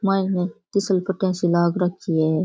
मायने फिसल पटिया सी लाग रखी है।